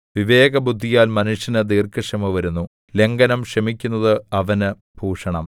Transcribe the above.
വിവേകബുദ്ധിയാൽ മനുഷ്യന് ദീർഘക്ഷമ വരുന്നു ലംഘനം ക്ഷമിക്കുന്നത് അവന് ഭൂഷണം